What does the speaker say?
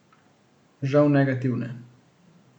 Žal negativne.